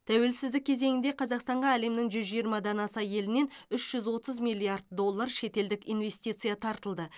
тәуелсіздік кезеңінде қазақстанға әлемнің жүз жиырмадан аса елінен үш жүз отыз миллиард доллар шетелдік инвестиция тартылды